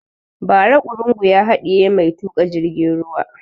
Ba ra ƙurungu ya haɗiye mai tuƙa jirgin ruwa